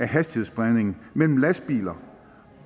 hastighedsspredningen mellem lastbiler